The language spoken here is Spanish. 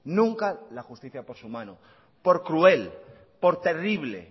nunca la justicia por su mano por cruel por terrible